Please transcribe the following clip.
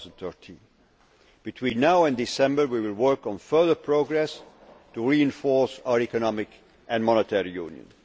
of 2013. Between now and December we will work on further progress to reinforce our economic and monetary